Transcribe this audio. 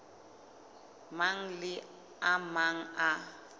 mang le a mang a